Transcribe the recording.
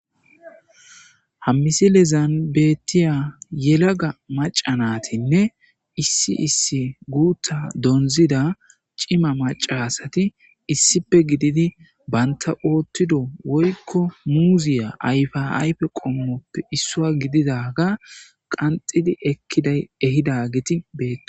Ha misilezan betiya yelaga maca natinne issi issi guta donzida cima maca asat issipe gidid banta otido woyko muziya ayfa ayfe qomoppe isuwa gididaga qanxid ehidaget betosona.